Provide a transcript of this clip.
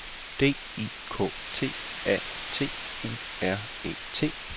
D I K T A T U R E T